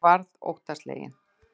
Ég varð óttasleginn.